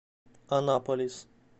анаполис